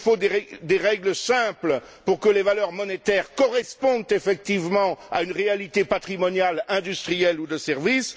il faut des règles simples pour que les valeurs monétaires correspondent effectivement à une réalité patrimoniale industrielle ou de service